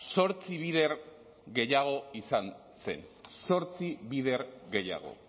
zortzi bider gehiago izan zen zortzi bider gehiago